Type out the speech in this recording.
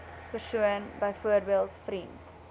persoon byvoorbeeld vriend